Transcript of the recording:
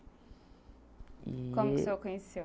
Como que você o conheceu?